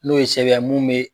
N'o ye sɛbɛya mun bɛ.